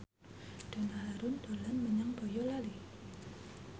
Donna Harun dolan menyang Boyolali